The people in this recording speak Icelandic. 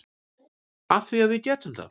Af því að við getum það.